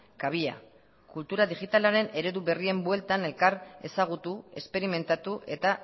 kabia kultura digitalaren eredu berrien bueltan elkar ezagutu esperimentatu eta